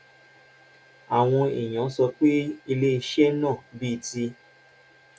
àwọn èèyàn sọ pé ilé iṣẹ́ náà bíi ti